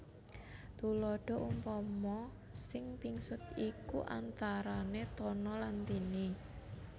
Tuladaha Umpama sing pingsut iku antarane Tono lan Tini